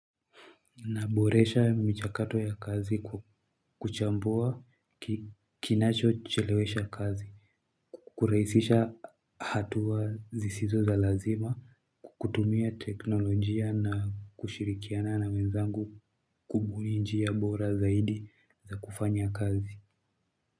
Naboresha michakato ya kazi kuchambua kinachochelewesha kazi. Kurahisisha hatua zisizo za lazima kukutumia teknolojia na kushirikiana na wenzangu kubuni njia bora zaidi za kufanya kazi.